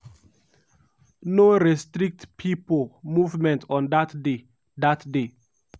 no restrict pipo movement on dat day. dat day.